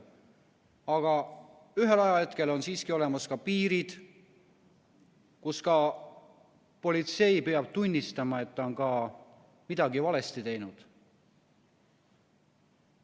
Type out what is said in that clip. Aga ühel ajahetkel on siiski olemas piirid, kus ka politsei peab tunnistama, et ta on midagi valesti teinud.